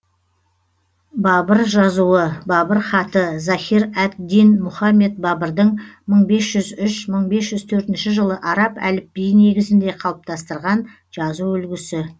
бабыр жазуы бабыр хаты захир әд дин мұхаммед бабырдың мың бес жүз үш мың бес жүз төртінші жылы араб әліпбиі негізінде қалыптастырған жазу үлгісі